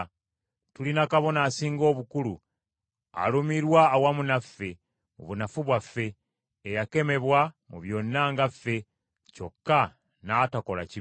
Tulina Kabona Asinga Obukulu alumirwa awamu naffe mu bunafu bwaffe, eyakemebwa mu byonna nga ffe, kyokka n’atakola kibi kyonna.